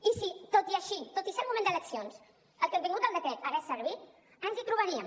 i si tot així tot i ser un moment d’eleccions el contingut del decret hagués servit ens hi trobaríem